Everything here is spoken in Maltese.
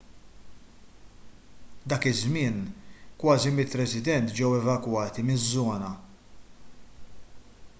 dak iż-żmien kważi 100 resident ġew evakwati miż-żona